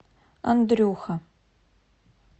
андрюха